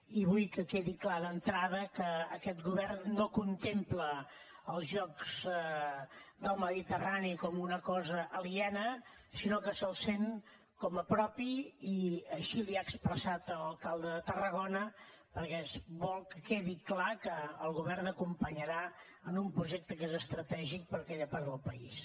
i vull que quedi clar d’entrada que aquest govern no contempla els jocs mediterranis com una cosa aliena sinó que els sent com a propis i així li ho ha expressat a l’alcalde de tarragona perquè vol que quedi clar que el govern l’acompanyarà en un projecte que és estratègic per a aquella part del país